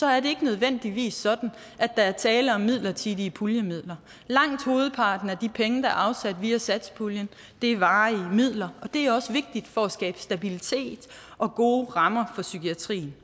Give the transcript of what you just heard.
er det ikke nødvendigvis sådan at der er tale om midlertidige puljemidler langt hovedparten af de penge der er afsat via satspuljen er varige midler og det er også vigtigt for at skabe stabilitet og gode rammer for psykiatrien